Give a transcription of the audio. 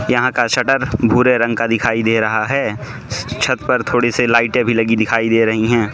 यहां का शटर भूरे रंग का दिखाई दे रहा है छत पर थोड़ी से लाइटें भी लगी दिखाई दे रही हैं।